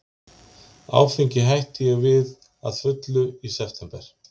Áfengi hætti ég við að fullu í september